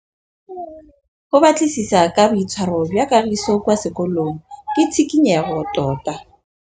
Go batlisisa ka boitshwaro jwa Kagiso kwa sekolong ke tshikinyêgô tota.